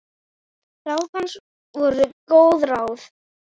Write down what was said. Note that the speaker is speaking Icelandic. Ráð hans voru góð ráð.